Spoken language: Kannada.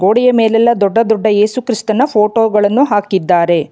ಗುಡಿಯ ಮೇಲೆಲ್ಲ ದೊಡ್ಡ ದೊಡ್ಡ ಏಸುಕ್ರಿಸ್ತನ ಫೋಟೋ ಗಳನ್ನು ಹಾಕಿದ್ದಾರೆ.